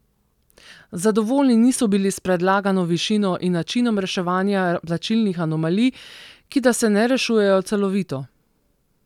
Zadovoljni niso bili s predlagano višino in načinom reševanja plačnih anomalij, ki da se ne rešujejo celovito.